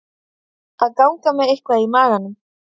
Að ganga með eitthvað í maganum